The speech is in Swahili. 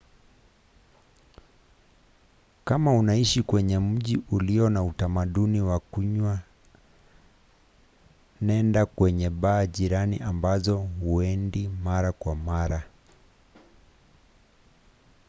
kama unaishi kwenye mji ulio na utamdauni wa kunywa nenda kwenye baa jirani ambazo huendi mara kwa mara